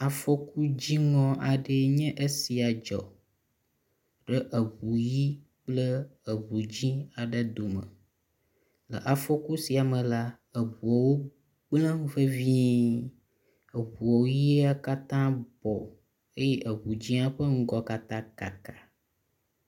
Afɔkudziŋɔ aɖee nye esia dzɔ ɖe eŋu ʋi kple eŋu dzɛ̃ aɖe dome le afɔku sia me la, eŋuwo gblẽ vevie, eŋu ʋia katã bɔ eye eŋu dzia ƒe ŋgɔ katã kaka.